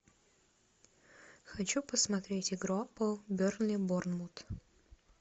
хочу посмотреть игру апл бернли борнмут